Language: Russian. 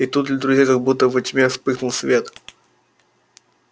и тут для друзей как будто во тьме вспыхнул свет